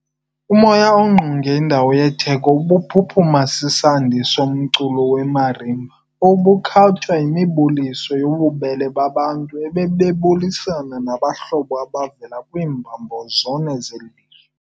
Umoya ongqonge indawo yetheko ubuphuphuma sisandi somculo wemarimba obukhatshwa yimibuliso yobubele babantu abebebulisana nabahlobo abavela kwiimbombo zone zeli lizwe.